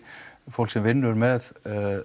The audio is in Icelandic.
fólk sem vinnur með